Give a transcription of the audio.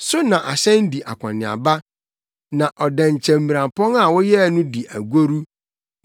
So na ahyɛn di akɔneaba, na ɔdɛnkyɛmmirampɔn a woyɛɛ no di agoru.